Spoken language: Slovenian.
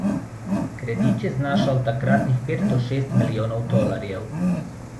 Kredit je znašal takratnih pet do šest milijonov tolarjev.